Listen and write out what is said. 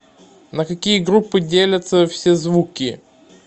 на какие группы делятся все звуки